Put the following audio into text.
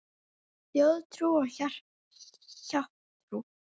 Þjóðtrú og hjátrú